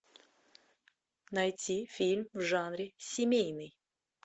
найти фильм в жанре семейный